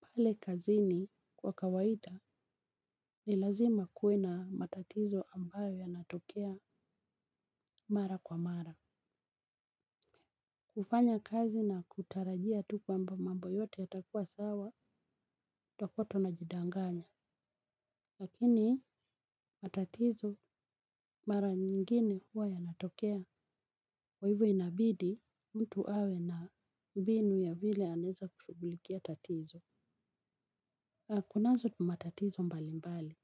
Pale kazini kwa kawaida ni lazima kuwe na matatizo ambayo yanatokea mara kwa mara. Kufanya kazi na kutarajia tu kwamba mambo yote yatakua sawa totakua tuna jidanganya. Lakini matatizo mara nyingine huwa yanatokea kwa hivyo inabidi mtu awe na mbinu ya vile anaweza kushughulikia tatizo. Kunazo matatizo mbali mbali.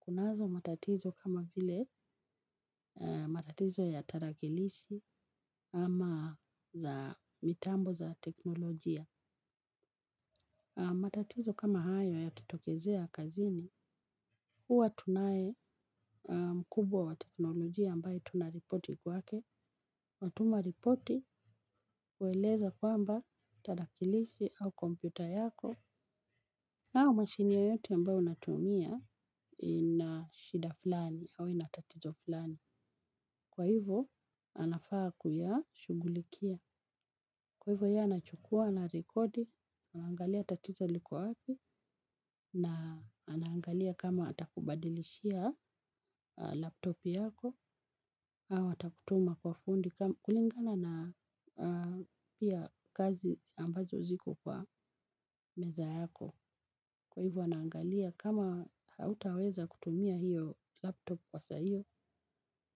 Kunazo matatizo kama vile matatizo ya tarakilishi ama za mitambo za teknolojia. Matatizo kama hayo yakitokezea kazini, huwa tunaye mkubwa wa teknolojia ambaye tunaripoti kwake. Natuma ripoti kueleza kwamba tarakilishi au kompyuta yako au masjini yoyote ambayo unatumia ina shida fulani au ina tatizo fulani. Kwa hivyo anafaa kuya shughulikia. Kwa hivyo yeye anachukua ana rekodi. Angalia tatizo liko wapi. Na anaangalia kama atakubadilishia laptop yako au atakutuma kwa fundi. Kulingana na pia kazi ambazo ziko kwa meza yako. Kwa hivyo anaangalia kama hautaweza kutumia hiyo laptop kwa saa hiyo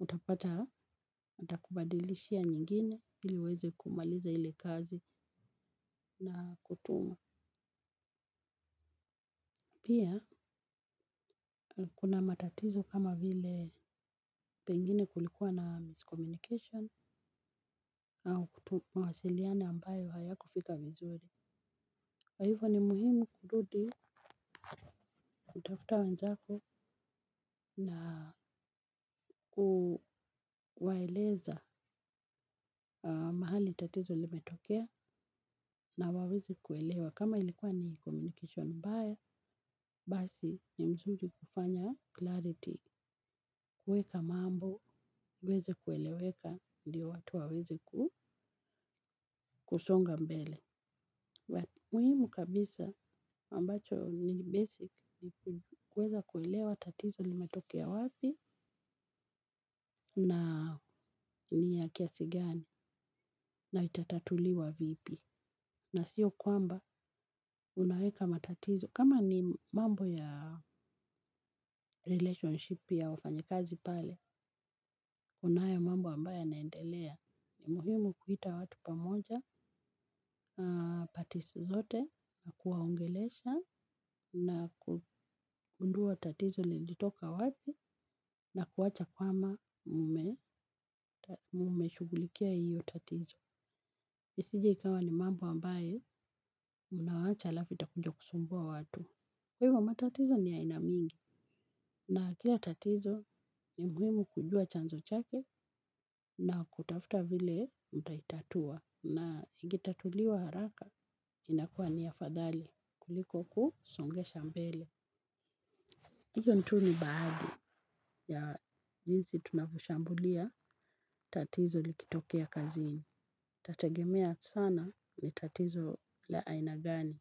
utapata atakubadilishia nyingine ili uweze kumaliza ile kazi na kutuma. Pia kuna matatizo kama vile pengine kulikuwa na miscommunication au kutuma mawasiliano ambayo hayakufika vizuri. Kwai hivo ni muhimu kurudi kutafuta wenzako na kuwaeleza mahali tatizo limetokea na waweze kuelewa. Kama ilikuwa ni communication ambaye basi ni mzuri kufanya clarity kuweka mambo iweze kueleweka ndio watu waweze kusonga mbele. Muhimu kabisa ambacho ni basic ni kuweza kuelewa tatizo limetokea wapi na ni ya kiasi gani na itatatuliwa vipi. Na siyo kwamba unaweka matatizo. Kama ni mambo ya relationship ya wafanyakazi pale kuna haya mambo ambayo yanaendelea. Na kuwacha kama mume shughulikia hiyo tatizo. Isije ikawa ni mambo ambaye unawacha slafimu utakuja kusumbua watu. Hivyo matatizo ni ya aina mingi. Na kila tatizo ni muhimu kujua chanzo chake na kutafuta vile mtaitatua. Na ikitatuliwa haraka, inakuwa ni afadhali kuliko kusongesha mbele hiyo tu ni baadhi ya jinsi tunavyo shambulia tatizo likitokea kazini. Itategemea sana ni tatizo la aina gani.